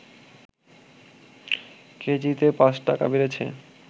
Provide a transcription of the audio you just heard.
কেজিতে৫ টাকা বেড়েছে